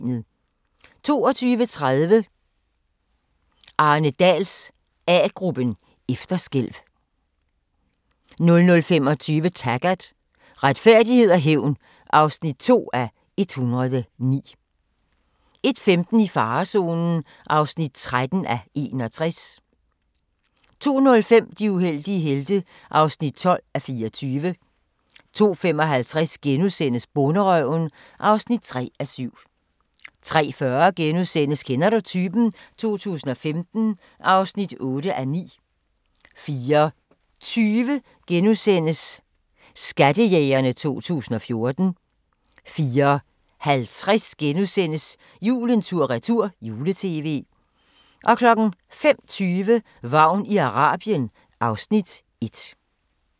22:30: Arne Dahls A-gruppen: Efterskælv 00:25: Taggart: Retfærdighed og hævn (2:109) 01:15: I farezonen (13:61) 02:05: De uheldige helte (12:24) 02:55: Bonderøven (3:7)* 03:40: Kender du typen? 2015 (8:9)* 04:20: Skattejægerne 2014 * 04:50: Julen tur-retur - jule-tv * 05:20: Vagn i Arabien (Afs. 1)